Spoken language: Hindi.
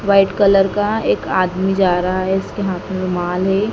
व्हाइट कलर का एक आदमी जा रहा है इसके हाथ में रुमाल है।